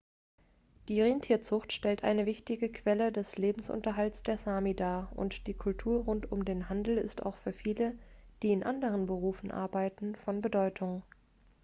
die rentierzucht stellt eine wichtige quelle des lebensunterhalts der sámi dar und die kultur rund um den handel ist auch für viele die in anderen berufe arbeiten von bedeutung